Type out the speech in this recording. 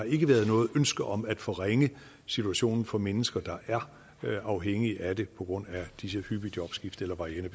ikke noget ønske om at forringe situationen for mennesker der er afhængige af det på grund af disse hyppige jobskifter eller varierende